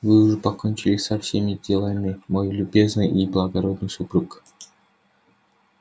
вы уже покончили со всеми делами мой любезный и благородный супруг